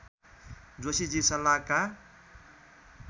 Joshiji सल्लाहका